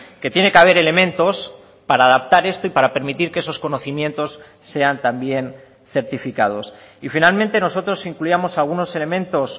que tiene que haber elementos para adaptar esto y para permitir que esos conocimientos sean también certificados y finalmente nosotros incluíamos algunos elementos